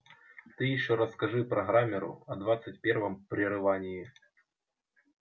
ты ещё расскажи программеру о двадцать первом прерывании